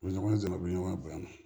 U bɛ ɲɔgɔn dɛmɛ u bɛ ɲɔgɔn bɔ a la